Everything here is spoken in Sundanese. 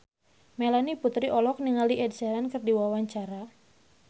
Melanie Putri olohok ningali Ed Sheeran keur diwawancara